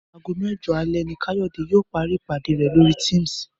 Aago mẹ́jọ alẹ́ ni Káyọ̀dé yóò parí ìpàdé rẹ̀ lórí Teams